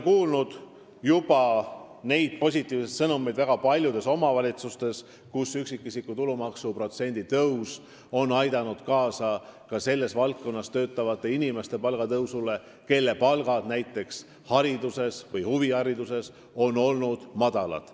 Olen juba kuulnud positiivseid sõnumeid väga paljudest omavalitsustest, kus üksikisiku tulumaksu protsendi tõus on aidanud tõsta ka sellistes valdkondades töötavate inimeste palka, kus palgad on olnud madalad.